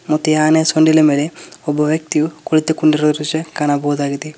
ಮತ್ತೆ ಈ ಆನೆ ಸೊಂಡಿಲಿನ ಮೇಲೆ ಒಬ್ಬ ವ್ಯಕ್ತಿಯು ಕುಳಿತುಕೊಂಡಿರುವ ದೃಶ್ಯ ಕಾಣಬಹುದಾಗಿದೆ.